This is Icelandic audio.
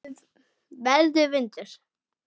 Verður vindur.